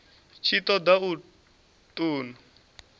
tshi ṱo ḓa u ṱun